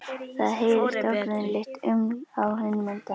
Það heyrist ógreinilegt uml á hinum endanum.